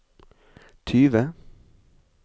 tyve